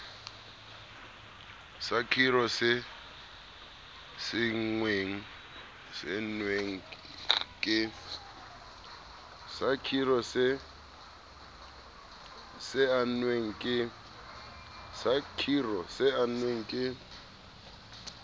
sa khiro se saennweng ke